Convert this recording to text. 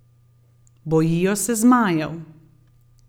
Bojijo se zmajev.